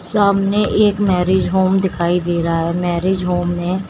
सामने एक marriage home दिखाई दे रहा है मैरिज होम में--